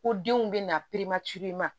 Ko denw bɛ na